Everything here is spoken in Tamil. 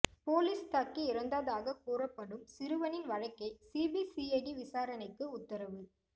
போலீஸ் தாக்கி இறந்ததாக கூறப்படும் சிறுவனின் வழக்கை சிபிசிஐடி விசாரணைக்கு உத்தரவு